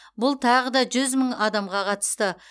бұл тағы да жүз мың адамға қатысты